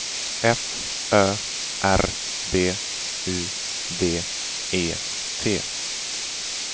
F Ö R B U D E T